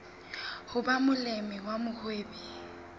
ho ba molemi wa mohwebi